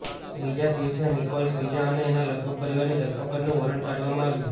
બીજા જ દિવસે નિકોલસ બીજા અને એના લગભગ પરિવારની ધરપકડનું વોરંટ કાઢવામાં આવ્યું